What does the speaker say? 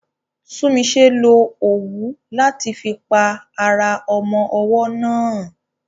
Tunmise lo òwú láti fi pa ara ọmọ ọwọ́ náà.